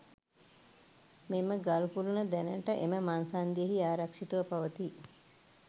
මෙම ගල් කුළුණ දැනට එම මංසන්ධියෙහි ආරක්ෂිතව පවතී.